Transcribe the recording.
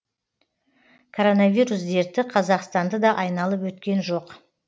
коронавирус дерті қазақстанды да айналып өткен жоқ